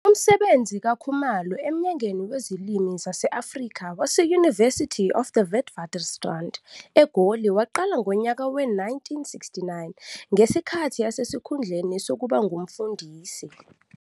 Umsebenzi kaKhumalo eMnyangweni Wezilimi Zase-Afrika wase- University of the Witwatersrand, eGoli waqala ngonyaka we-1969, ngesikhathi esesikhundleni sokuba ngumfundisi.